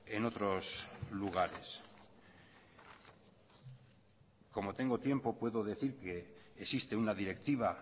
en otros lugares como tengo tiempo puedo decir que existe una directiva